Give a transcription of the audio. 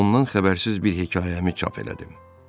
Ondan xəbərsiz bir hekayəmi çap elədim.